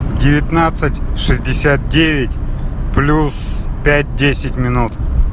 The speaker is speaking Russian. девятнадцать шестьдесят девять плюс пять десять минут